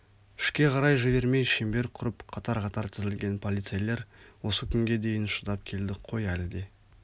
ішке қарай жібермей шеңбер құрып қатар-қатар тізілген полицейлер осы күнге дейін шыдап келдік қой әлі де